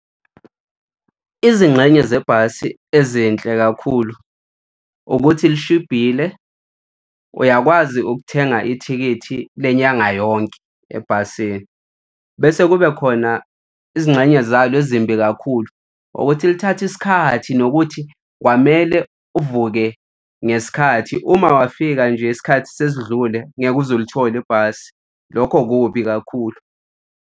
Izingxenye zebhasi ezinhle kakhulu ukuthi lishibhile, uyakwazi ukuthenga ithikithi lenyanga yonke ebhasini. Bese kube khona izingxenye zalo ezimbi kakhulu ukuthi lithathe isikhathi nokuthi kwamele uvuke ngesikhathi, uma wafika nje isikhathi sesidlule ngeke uze ulithole ibhasi. Lokho kubi kakhulu.